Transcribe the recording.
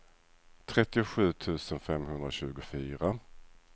trettiosju tusen femhundratjugofyra